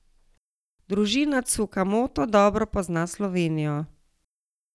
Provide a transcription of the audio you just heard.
Družina Tsukamoto dobro pozna Slovenijo.